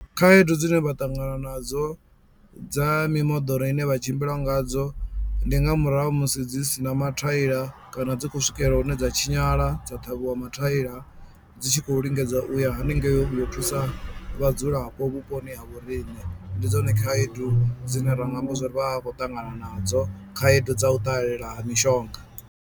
Khaedu dzine vha ṱangana nadzo dza mimoḓoro ine vha tshimbila ngadzo ndi nga murahu musi dzi sina mathaila kana dzi khou swikelela hune dza tshinyala dza ṱhavhiwa mathaila dzi tshi khou lingedza u ya hanengei vho thusa vhadzulapo vhuponi ha vhoriṋe ndi dzone khaedu dzine ra nga amba zwa uri vha vha khou ṱangana nadzo, khaedu dza u ṱalela ha mishonga.